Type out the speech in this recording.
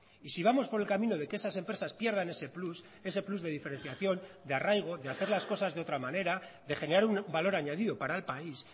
y si vamos por el camino de que esas empresas pierdan ese plus ese plus de diferenciación de arraigo de hacer las cosas de otra manera de generar un valor añadido para el país